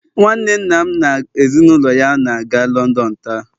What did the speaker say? nwanne nna m na ezi na ulo ya na-aga London taa